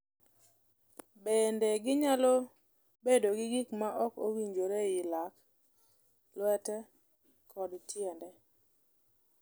Bende, ginyalo bedo gi gik ma ok owinjore e lak, lwete, kod tiende.